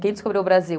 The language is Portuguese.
Quem descobriu o Brasil?